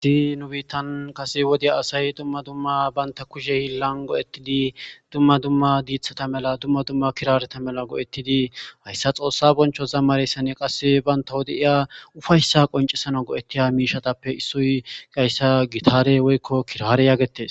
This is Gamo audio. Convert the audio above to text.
iiyi nu biittan kase wodey asay dumma dumma banta kushe hillan go7ettidi dumma dumma diithata mela dumma dumma kirareta mela go7ettidi hayssa xoossa boncho zammareyssane qasse baynta wode iya ufayssa qoncesano go7ettiya miishatappe issoy gayssa gitare woykko kirare yaagetes